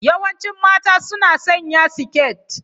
Yawancin mata suna sanya siket.